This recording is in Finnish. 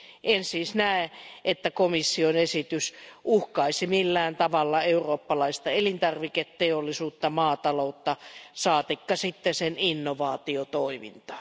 En siis näe, että komission esitys uhkaisi millään tavalla eurooppalaista elintarviketeollisuutta tai maataloutta saatikka sitten sen innovaatiotoimintaa.